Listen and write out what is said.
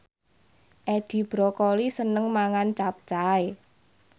Edi Brokoli seneng mangan capcay